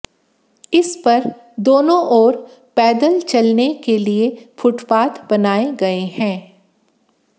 इस पर दोनों ओर पैदल चलने के लिए फुटपाथ बनाए गए हैं